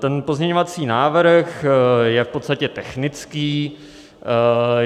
Tento pozměňovací návrh je v podstatě technický.